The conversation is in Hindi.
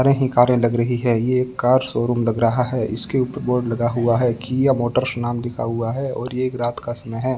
ही कारें लग रही है यह कार शोरूम लग रहा है इसके ऊपर बोर्ड लगा हुआ है किया मोटर्स नाम लिखा हुआ है और एक रात का समय है।